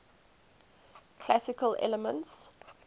classical elements